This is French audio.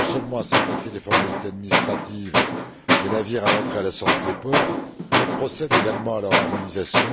Il vise non seulement à simplifier les formalités administratives des navires à l'entrée et à la sortie des ports, mais procède également à leur harmonisation.